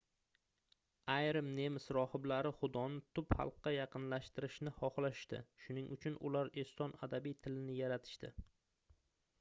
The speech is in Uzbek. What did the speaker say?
ayrim nemis rohiblari xudoni tub xalqqa yaqinlashtirishni xohlashdi shuning uchun ular eston adabiy tilini yaratishdi